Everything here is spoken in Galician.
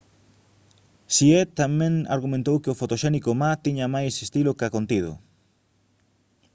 hsieh tamén argumentou que o fotoxénico ma tiña máis estilo ca contido